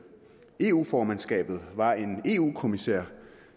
eu formandskabet var en eu kommissær